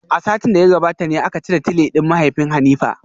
A satin da ya gabata ne aka cire tile din mahaifin Hanifa.